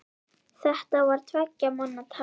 Þetta var tveggja manna tal.